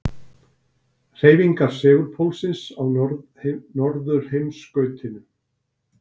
Hreyfingar segulpólsins á norðurheimskautinu.